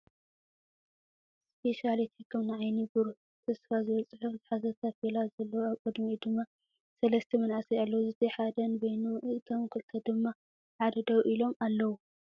ስፔሻሊቲ ሕክምና ዓይኒ ብሩህ ተስፋ ዝብል ፅሑፍ ዝሓዘ ታፔላ ዘለዎ ኣብ ቅዲሚኡ ድማ ሰለስተ መናእሰይ ኣለው ዝቱይ ሓደ ነበይኑ እቶም ክልተ ድማ ብሓደ ደው ኢሎም ኣው።